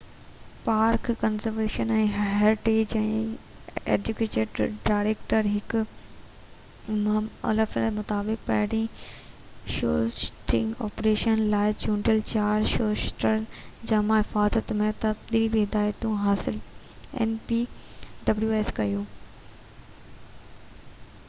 npws park conservation ۽ heritage جي acting director Mick O'Flynn مطابق پهرين شوٽنگ آپريشن لاءِ چونڊيل چار شوٽرن جامع حفاظت ۽ تربيتي هدايتون حاصل ڪيون